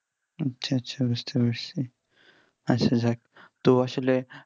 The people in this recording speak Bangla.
আচ্ছা আচ্ছা বুঝতে পারছি আচ্ছা যাক তো আসলে